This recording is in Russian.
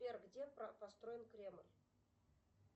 сбер где построен кремль